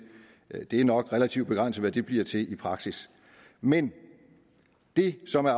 er det nok relativt begrænset hvad de bliver til i praksis men det som er